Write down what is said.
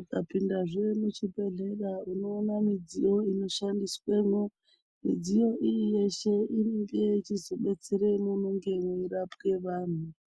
ukapinda zve muchibhedhlera unoona mudziyo inoshandiswemo midziyo iyi inonga yeizoshandiswe peshe panorapwa vantu .